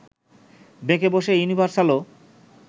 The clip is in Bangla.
বেঁকে বসে ইউনিভার্সালও